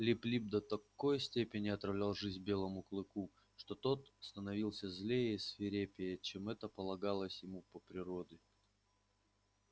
лип лип до такой степени отравлял жизнь белому клыку что тот становился злее и свирепее чем это полагалось ему по природе